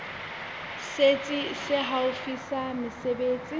setsi se haufi sa mesebetsi